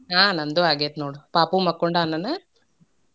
ಆಹ್ ನಂದೂ ಆಗೇತ್ ನೋಡ. ಪಾಪು ಮಕ್ಕೊಂಡಾನನ?